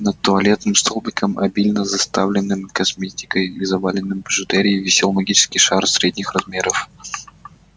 над туалетным столиком обильно заставленным косметикой и заваленным бижутерией висел магический шар средних размеров